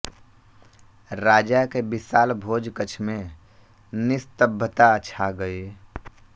राजा के विशाल भोज कक्ष में निस्तब्धता छा गई